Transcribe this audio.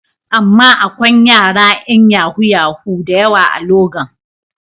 Amma akwain yara yan yahu-yahu da yawa a Logan.